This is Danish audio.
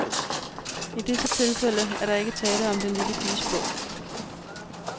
I disse tilfælde er der ikke tale om den lille piges blod.